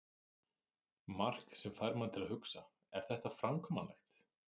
Mark sem fær mann til að hugsa: Er þetta framkvæmanlegt?